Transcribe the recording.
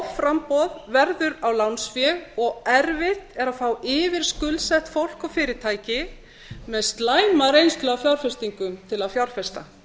offramboð verður á lánsfé og erfitt er að fá yfirskuldsett fólk og fyrirtæki með slæma reynslu af skuldsetningu til að fjárfesta